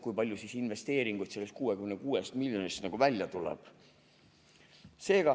Kui palju investeeringuid sellest 66 miljonist välja tuleb?